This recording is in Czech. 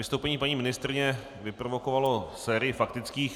Vystoupení paní ministryně vyprovokovalo sérii faktických.